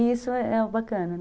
E isso é o bacana, né?